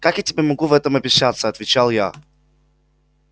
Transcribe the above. как я могу тебе в этом обещаться отвечал я